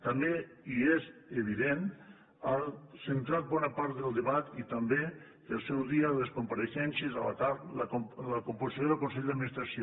també i és evident ha centrat bona part del debat i també al seu dia les compareixences a la carp la composició del consell d’administració